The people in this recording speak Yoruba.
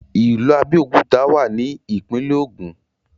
ìlú Abéòkúta wà ní ìpínlẹ̀ Ògùn